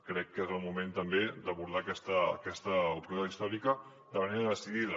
crec que és el moment també d’abordar aquesta oportunitat històrica de manera decidida